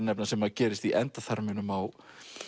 nefna sem gerist í endaþarminum á